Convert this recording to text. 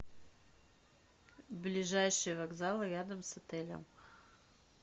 ближайший вокзал рядом с отелем